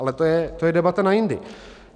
Ale to je debata na jindy.